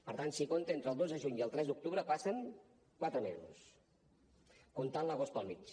per tant si compta entre el dos de juny i el tres d’octubre passen quatre mesos comptant l’agost pel mig